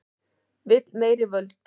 Vill meiri völd